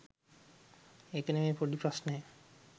ඒක නෙමේ පොඩී ප්‍රශ්නය